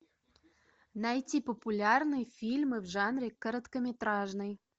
найти популярные фильмы в жанре короткометражный